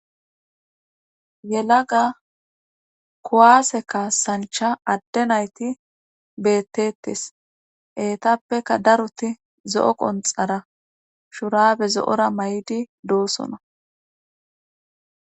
Yelaga kowaase kaassancha adde nayti bettetes eetappeka daroti zo7o qonxara shurabe zo7ora may7di doosona.